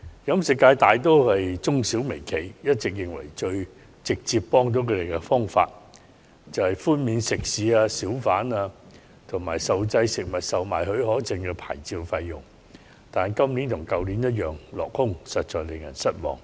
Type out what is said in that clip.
飲食界大多數都是中小微企，他們一直認為最直接有效的幫助，就是寬免食肆、小販，以及受限制食物售賣許可證的牌照費用，但今年與去年我們同樣希望落空，實在使人失望。